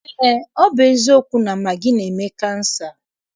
Eé, ọ bụ eziokwu na magị na-eme kansa.